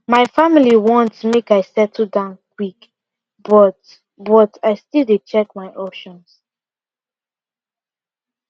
my family want make i settle down quick but but i still dey check my options